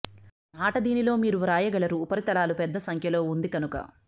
ఆట దీనిలో మీరు వ్రాయగలరు ఉపరితలాలు పెద్ద సంఖ్యలో ఉంది కనుక